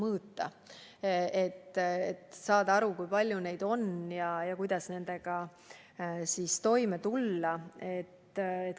On ju vaja aru saada, kui palju neid on ja kuidas nendega toime tulla.